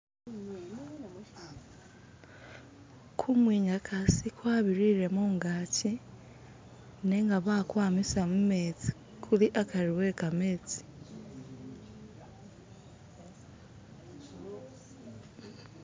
kumwinyakasi kwabirire mugachi nenga bakwamisa mumetsi kuli akari wekametsi